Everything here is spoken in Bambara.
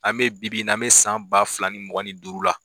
An bɛ bi-bi in na an bɛ san ba fila ni mugan ni duuru la